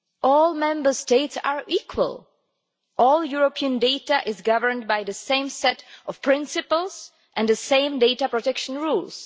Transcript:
All Member States are equal. All European data is governed by the same set of principles and the same data protection rules.